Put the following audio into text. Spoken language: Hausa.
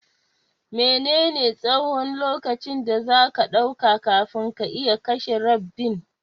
Mene ne tsahon lokaci da zaka ɗauka kafin ka iya kashe rabbin?